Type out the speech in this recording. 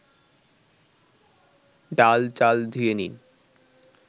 ডাল-চাল ধুয়ে নিন